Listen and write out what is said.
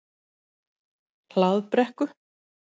Hlaðbrekku